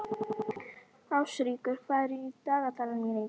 Ástríkur, hvað er í dagatalinu mínu í dag?